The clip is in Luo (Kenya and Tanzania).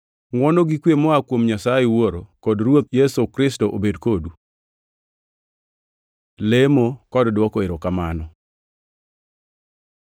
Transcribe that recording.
Ngʼwono gi kwe moa kuom Nyasaye Wuoro kod Ruoth Yesu Kristo obed kodu. Lemo kod dwoko erokamano